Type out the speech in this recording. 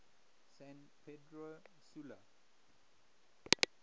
san pedro sula